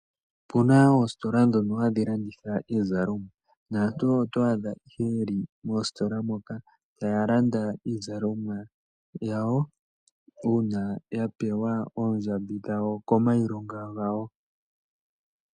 Opuna oositola hadhi landitha iizalomwa naantu oto adha ihe yeli moositola moka taya landa iizalomwa yawo uuna ya pewa oondjambi dhawo kiilonga yawo.